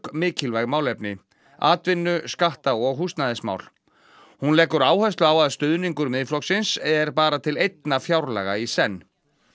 mikilvæg málefni atvinnu skatta og húsnæðismál hún leggur áherslu á að stuðningur Miðflokksins er bara til einna fjárlaga í senn